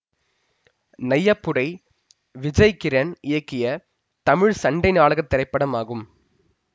நையப்புடை விஜய் கிரண் இயக்கிய தமிழ் சண்டைநாடகத் திரைப்படம் ஆகும்